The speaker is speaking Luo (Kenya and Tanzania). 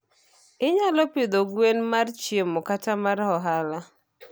Inyalo pidho gwen mar chiemo kata mar ohala.